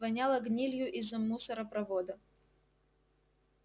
воняло гнилью из мусоропровода